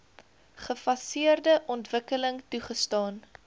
gefaseerde ontwikkeling toegestaan